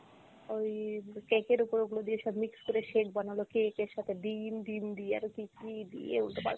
ওই cake এর ওপর ওগুলো দিয়ে সব mix করে shake বানালো, cake এর সাথে ডিম, ডিম দিয়ে আরও কী কী দিয়ে উলটোপালটা।